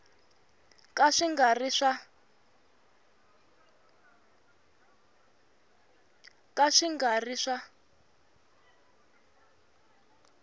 ka swi nga ri swa